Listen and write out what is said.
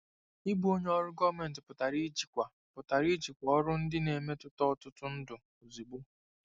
Ịbụ onye ọrụ gọọmentị pụtara ijikwa pụtara ijikwa ọrụ ndị na-emetụta ọtụtụ ndụ ozugbo.